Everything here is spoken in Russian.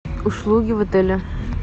услуги в отеле